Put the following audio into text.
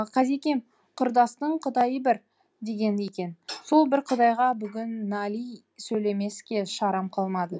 қазекем құрдастың құдайы бір деген екен сол бір құдайға бүгін нали сөйлемеске шарам қалмады